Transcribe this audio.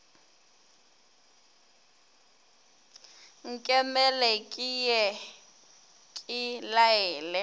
nkemele ke ye ke laele